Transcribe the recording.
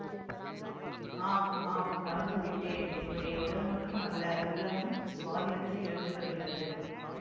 ஆம் ஆம் மறந்து விட்டேன் என்னுடைய உடல் மட்டும் அல்ல உள்ளமும் சுவாதினத்தை இழந்து வருகிறது